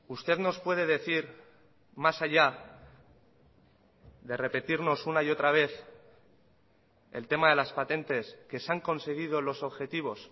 usted nos puede decir más allá de repetirnos una y otra vez el tema de las patentes que se han conseguido los objetivos